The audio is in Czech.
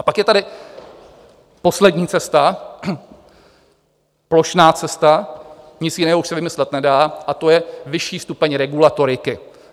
A pak je tady poslední cesta, plošná cesta, nic jiného už se vymyslet nedá, a to je vyšší stupeň regulatoriky.